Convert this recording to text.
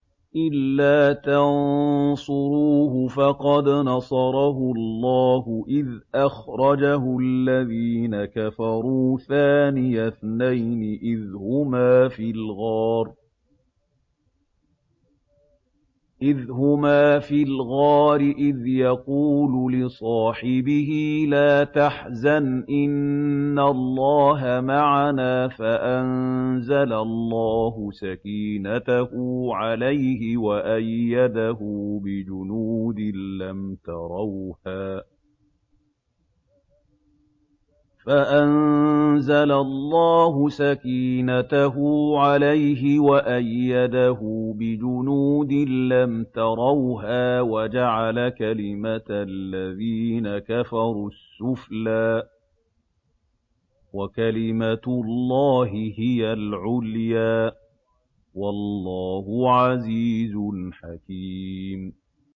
إِلَّا تَنصُرُوهُ فَقَدْ نَصَرَهُ اللَّهُ إِذْ أَخْرَجَهُ الَّذِينَ كَفَرُوا ثَانِيَ اثْنَيْنِ إِذْ هُمَا فِي الْغَارِ إِذْ يَقُولُ لِصَاحِبِهِ لَا تَحْزَنْ إِنَّ اللَّهَ مَعَنَا ۖ فَأَنزَلَ اللَّهُ سَكِينَتَهُ عَلَيْهِ وَأَيَّدَهُ بِجُنُودٍ لَّمْ تَرَوْهَا وَجَعَلَ كَلِمَةَ الَّذِينَ كَفَرُوا السُّفْلَىٰ ۗ وَكَلِمَةُ اللَّهِ هِيَ الْعُلْيَا ۗ وَاللَّهُ عَزِيزٌ حَكِيمٌ